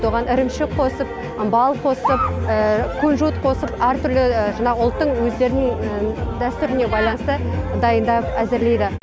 оған ірімшік қосып бал қосып күнжіт қосып әртүрлі жаңағы ұлттың өздерінің дәстүріне байланысты дайындап әзірлейді